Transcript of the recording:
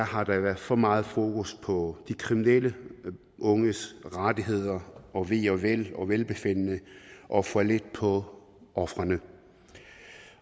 har været for meget fokus på de kriminelle unges rettigheder og ve og vel og velbefindende og for lidt fokus på ofrene